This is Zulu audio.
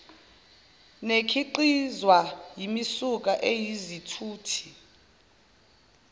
nekhiqizwa yimisuka eyizithuthi